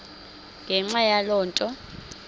ngenxa yaloo nto